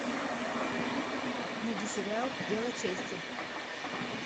найди сериал дело чести